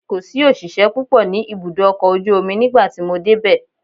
Kò sí òṣìṣẹ́ púpọ̀ ní ibùdó ọkọ̀ ojú omi nígbà tí mo dé bẹ̀.